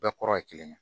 Bɛɛ kɔrɔ ye kelen ye